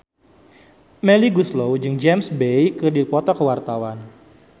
Melly Goeslaw jeung James Bay keur dipoto ku wartawan